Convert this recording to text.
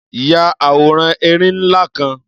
Ya àwòrán erin ńlá kan.